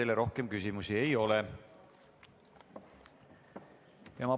Teile rohkem küsimusi ei ole.